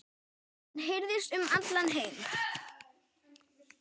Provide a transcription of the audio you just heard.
Hann heyrist um allan heim.